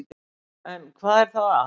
En hvað er þá að?